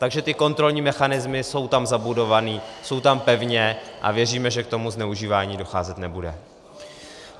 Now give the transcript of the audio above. Takže ty kontrolní mechanismy jsou tam zabudované, jsou tam pevně a věříme, že k tomu zneužívání docházet nebude.